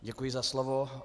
Děkuji za slovo.